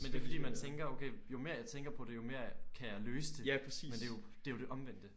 Men det er fordi man tænker okay jo mere jeg tænker på det jo mere kan jeg løse det men det jo det jo det omvendte